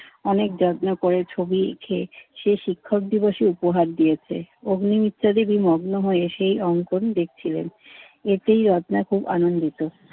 অনেক যত্ন করে ছবি এঁকে সে শিক্ষক দিবসে উপহার দিয়েছে। অগ্নি মিত্তাল দেবী মগ্ন হয়ে সেই অংকন দেখছিলেন। এতেই রত্না খুব আনন্দিত।